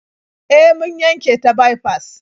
E, mun yanke ta baifas.